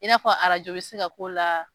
I n'a fɔ bi se ka k'o la